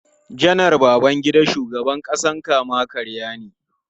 Janar Babangida shugaban kama-karya ne.